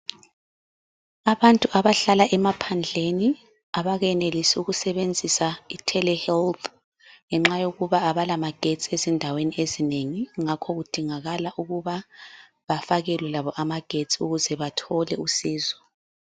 Abantu abahlala emaphandleni abakayenelisi ukusebenzisa ithele helthi ngenxa yokuba abala amagetsi ezjndaweni ezinengi ngakho kudingakala ukuba bafakelwe labo amagetsi ukuze bathole usizo.